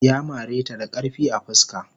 Ya mare ta da karfi a fuska.